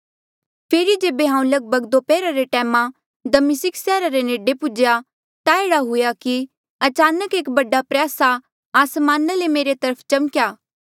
फेरी जेबे हांऊँ लगभग दोपहरा रे टैमा दमिस्का सैहरा रे नेडे पौहुन्चेया ता एह्ड़ा हुएया कि अचानक एक बड़ा प्रयासा आसमाना ले मेरे चारो तरफ चमक्या